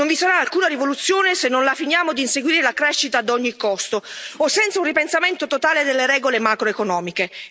Non vi sarà alcuna rivoluzione se non la finiamo di inseguire la crescita ad ogni costo, o senza un ripensamento totale delle regole macroeconomiche.